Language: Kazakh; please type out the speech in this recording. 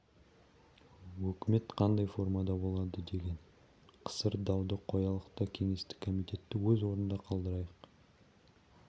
өкімет қандай формада болады деген қысыр дауды қоялық та кеңестің комитетті өз орнында қалдырайық